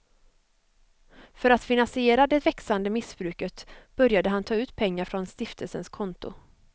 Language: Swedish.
För att finansiera det växande missbruket började han ta ut pengar från stiftelsens konto.